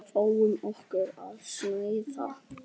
Fáum okkur að snæða.